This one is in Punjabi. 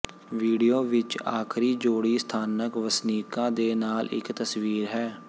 ਵੀਡੀਓ ਵਿੱਚ ਆਖਰੀ ਜੋੜੀ ਸਥਾਨਕ ਵਸਨੀਕਾਂ ਦੇ ਨਾਲ ਇੱਕ ਤਸਵੀਰ ਹੈ